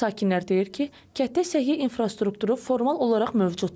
Sakinlər deyir ki, kənddə səhiyyə infrastrukturu formal olaraq mövcuddur.